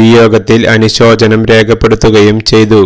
വിയോഗത്തിൽ അനുശോചനം രേഖപ്പെടുത്തുകയും ചെയ്തു